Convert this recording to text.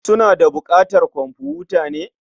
Suna da buƙatar komfuta ne?